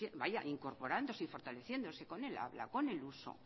vaya incorporándose y fortaleciéndose con el habla con el uso